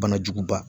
Banajuguba